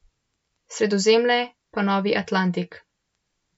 Sredozemlje pa novi Atlantik.